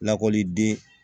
Lakɔliden